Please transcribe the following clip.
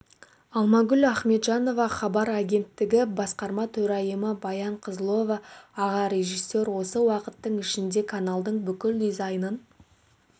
алмагүл ахметжанова хабар агенттігі басқарма төрайымы баян қызылова аға режиссер осы уақыттың ішінде каналдың бүкіл дизайнын